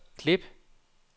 klip